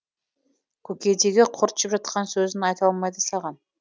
көкейдегі құрт жеп жатқан сөзін айта алмайды саған